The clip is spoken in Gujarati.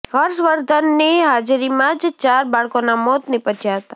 હર્ષવર્ધનની હાજરીમાં જ ચાર બાળકોનાં મોત નિપજ્યા હતા